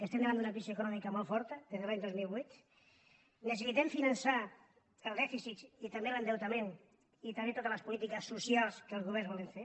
estem davant d’una crisi econòmica molt forta des de l’any dos mil vuit necessitem finançar el dèficit i també l’endeutament i també totes les polítiques socials que els governs volen fer